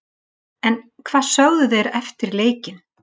En hvað sögðu þeir eftir leikinn?